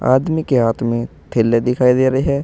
आदमी के हाथ में थैले दिखाई दे रहे हैं।